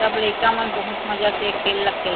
सब लइका मन बहुत मजा से खेल ला खेल--